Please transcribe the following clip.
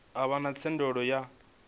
a vha na thendelo ya